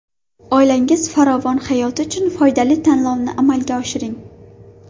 Oilangiz farovon hayoti uchun foydali tanlovni amalga oshiring.